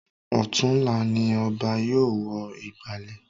Ọ̀tunla ni Ọba yóò wọ ìgbàlẹ̀